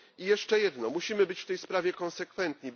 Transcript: I jeszcze jedno musimy być w tej sprawie konsekwentni.